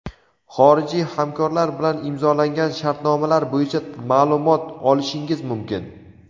xorijiy hamkorlar bilan imzolangan shartnomalar bo‘yicha maʼlumot olishingiz mumkin.